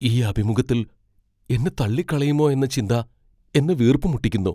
ഈ അഭിമുഖത്തിൽ എന്നെ തള്ളിക്കളയുമോ ചിന്ത എന്നെ വീർപ്പുമുട്ടിക്കുന്നു.